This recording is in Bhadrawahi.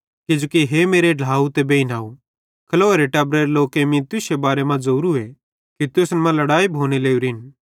किजोकि हे मेरे ढ्लाव ते बेइनव खलोएरे टब्बरेरे लोकेईं मीं तुश्शे बारे मां ज़ोवरूए कि तुसन मां लड़ाई लोरिन भोने